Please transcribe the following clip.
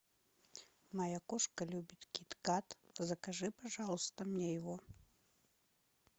моя кошка любит киткат закажи пожалуйста мне его